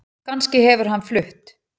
Kannski hefur hann flutt